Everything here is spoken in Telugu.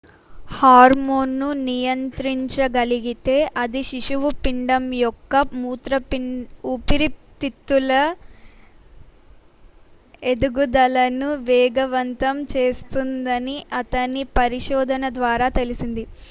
హార్మోన్ను నియంత్రించగలిగితే అది శిశువు పిండం యొక్క ఊపిరితిత్తుల ఎదుగుదలను వేగవంతం చేస్తుందని అతని పరిశోధన ద్వారా తెలిసింది